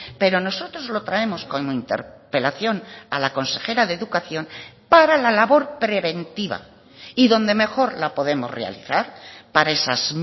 pero nosotros lo traemos como interpelación a la consejera de educación para la labor preventiva y donde mejor la podemos realizar para esas